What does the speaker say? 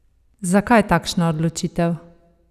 Zakaj takšna odločitev?